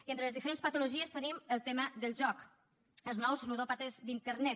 i entre les diferents patologies tenim el tema del joc els nous ludòpates d’internet